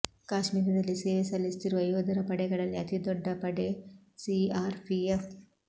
ಕಾಶ್ಮೀರದಲ್ಲಿ ಸೇವೆ ಸಲ್ಲಿಸುತ್ತಿರುವ ಯೋಧರ ಪಡೆಗಳಲ್ಲಿ ಅತಿ ದೊಡ್ಡ ಪಡೆ ಸಿಆರ್ಪಿಎಫ್